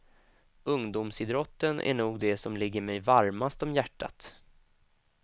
Ungdomsidrotten är nog det som ligger mig varmast om hjärtat.